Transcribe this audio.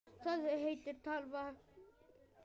Það er tölva aftur í.